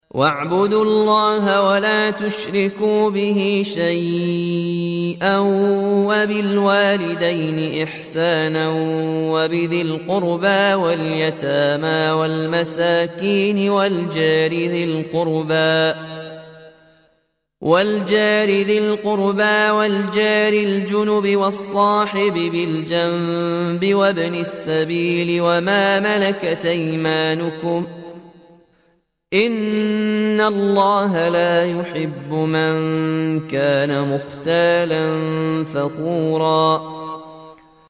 ۞ وَاعْبُدُوا اللَّهَ وَلَا تُشْرِكُوا بِهِ شَيْئًا ۖ وَبِالْوَالِدَيْنِ إِحْسَانًا وَبِذِي الْقُرْبَىٰ وَالْيَتَامَىٰ وَالْمَسَاكِينِ وَالْجَارِ ذِي الْقُرْبَىٰ وَالْجَارِ الْجُنُبِ وَالصَّاحِبِ بِالْجَنبِ وَابْنِ السَّبِيلِ وَمَا مَلَكَتْ أَيْمَانُكُمْ ۗ إِنَّ اللَّهَ لَا يُحِبُّ مَن كَانَ مُخْتَالًا فَخُورًا